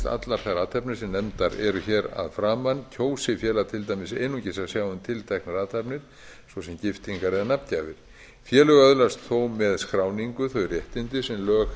allar þær athafnir sem nefndar eru hér að framan kjósi félög til dæmis einungis að sjá um tilteknar athafnir svo sem giftingar eða nafngjafir félög öðlast þó með skráningu þau réttindi sem lög